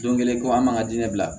Don kelen ko an man ka di ne bila